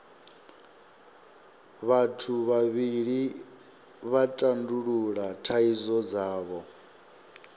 vhathu vhavhili vha tandulula thaidzo dzavho